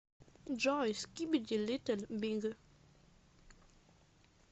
джой скибиди литл биг